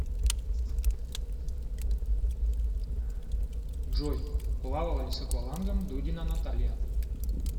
джой плавала ли с аквалангом дудина наталья